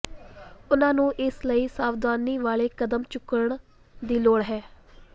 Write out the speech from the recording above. ਉਨ੍ਹਾਂ ਨੂੰ ਇਸ ਲਈ ਸਾਵਧਾਨੀ ਵਾਲੇ ਕਦਮ ਚੁੱਕਣ ਦੀ ਲੋੜ ਹੈ